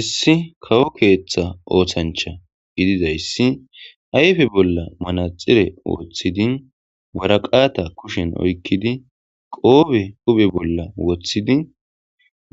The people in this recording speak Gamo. issi kawo keeththa oothancha gididayssi ayfe bolla manaxire wooththidi waraqata kushen oykkidi qoobe huphe bolla woththidi